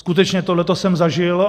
Skutečně tohle jsem zažil.